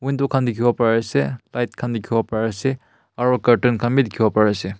dukha dekhi bu pari ase light khan dekhi bo pari ase aru kartan khan bhi dekhi bo pari ase.